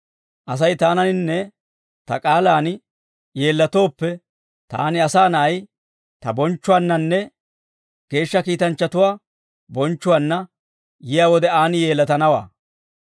Asay taananinne ta k'aalaan yeellatooppe, taani Asaa Na'ay, ta bonchchuwaannanne geeshsha kiitanchchatuwaa bonchchuwaanna yiyaa wode aan yeellatanawaa.